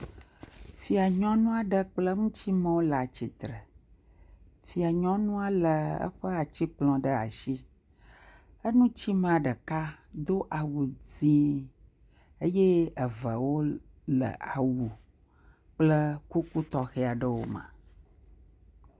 Fia nyɔnu aɖe kple ŋutsu mewo le atsitre. Fia nyɔnua le eƒe atikplɔ ɖe asi. Eŋuti mea ɖeka do awu dzi eye eve wo le awu kple kuku tɔxɛ aɖewo me.